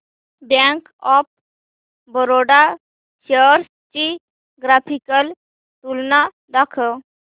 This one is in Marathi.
बँक ऑफ बरोडा शेअर्स ची ग्राफिकल तुलना दाखव